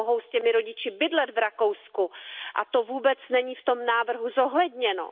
Mohou s rodiči bydlet v Rakousku, a to vůbec není v tom návrhu zohledněno.